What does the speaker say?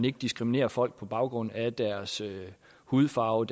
ikke diskriminerer folk på baggrund af deres hudfarve